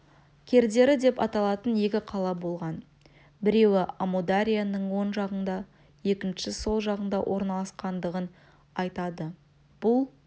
кердері деп аталатын екі қала болған біреуі амударияның оң жағында екіншісі сол жағында орналасқандығын айтады бұл